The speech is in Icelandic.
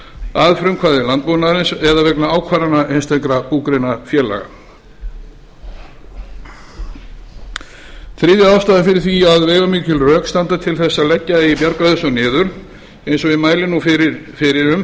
að frumkvæði landbúnaðarins eða vegna ákvarðana einstakra búgreinafélaga þriðja ástæðan fyrir því að veigamikil rök standa til þess að leggja eigi bjargráðasjóð niður eins og ég mæli nú fyrir um